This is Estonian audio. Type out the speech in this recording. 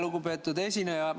Lugupeetud esineja!